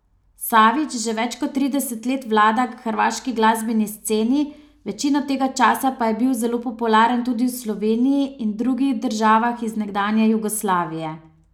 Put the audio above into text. Savić že več kot trideset let vlada hrvaški glasbeni sceni, večino tega časa pa je bil zelo popularen tudi v Sloveniji in drugih državah iz nekdanje Jugoslavije.